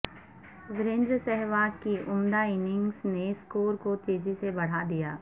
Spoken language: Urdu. وریندر سہواگ کی عمدہ اننگز نے سکور کو تیزی سے بڑھا دیا